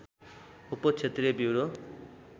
उप क्षेत्रीय ब्युरो